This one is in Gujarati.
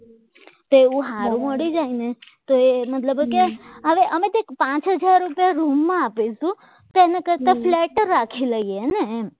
તો એવું સારું મળી ન જાય તો મતલબ કે હવે મત અમે કંઇક પાચ હજાર રૂપિયા રૂમમાં આપીશું તો એના કરતાં ફ્લેટ જ રાખી લઈએ ને એમ